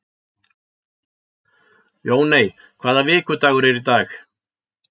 Jóney, hvaða vikudagur er í dag?